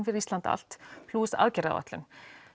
fyrir Ísland allt plús aðgerðaáætlun